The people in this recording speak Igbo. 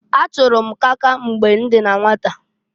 Achụrụ m kaka mgbe m dị na nwata.